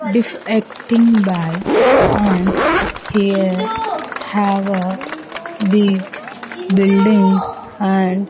Defecting by and here have a big building and --